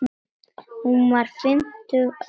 Hún var fimmtug að aldri.